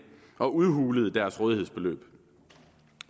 og udhulede deres rådighedsbeløb